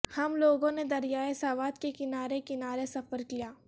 ہم لوگوں نے دریائے سوات کے کنارے کنارے سفر کیا